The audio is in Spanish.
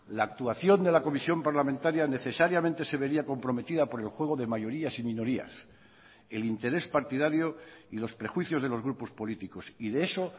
la actuación de la comisión parlamentaria necesariamente se vería comprometida por el juego de mayorías y minorías el interés partidario y los prejuicios de los grupos políticos y de eso